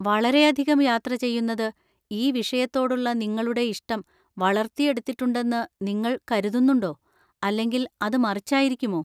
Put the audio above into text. വളരെയധികം യാത്ര ചെയ്യുന്നത് ഈ വിഷയത്തോടുള്ള നിങ്ങളുടെ ഇഷ്ടം വളർത്തിയെടുത്തിട്ടുണ്ടെന്ന് നിങ്ങൾ കരുതുന്നുണ്ടോ അല്ലെങ്കിൽ അത് മറിച്ചായിരിക്കുമോ?